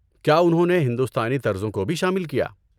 کیا انہوں نے ہندوستانی طرزوں کو بھی شامل کیا؟